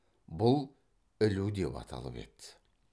бұл ілу деп аталып еді